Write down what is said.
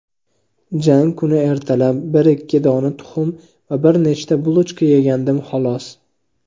Jang kuni ertalab ikki dona tuxum va bir nechta "bulochka" yegandim xolos.